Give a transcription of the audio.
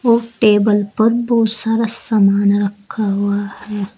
और टेबल पर बहोत सारा सामान रखा हुआ है।